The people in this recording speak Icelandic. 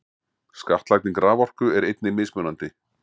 Skattlagning raforku er einnig mismunandi.